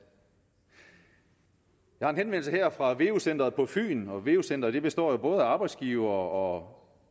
jeg har en henvendelse her fra veu centeret på fyn og veu centeret består jo både af arbejdsgivere